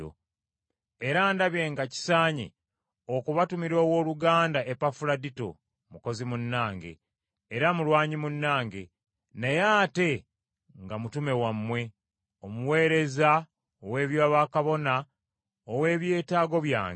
Era ndabye nga kisaanye okubatumira owooluganda Epafuladito mukozi munnange, era mulwanyi munnange, naye ate nga mutume wammwe, omuweereza ow’eby’obwakabona ow’eby’etaago byange,